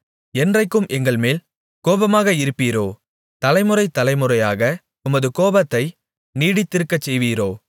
என்றைக்கும் எங்கள்மேல் கோபமாக இருப்பீரோ தலைமுறை தலைமுறையாக உமது கோபத்தை நீடித்திருக்கச்செய்வீரோ